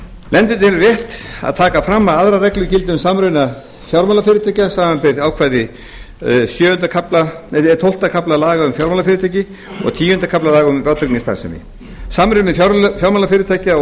nefndin telur rétt að taka fram að aðrar reglur gilda um samruna fjármálafyrirtækja samanber ákvæði tólfta kafla laga um fjármálafyrirtæki og tíunda kafla laga um vátryggingastarfsemi samruni fjármálafyrirtækja og